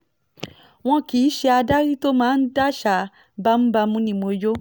wọn kì í ṣe adarí tó máa ń daṣà bámúbámú ni mo yọ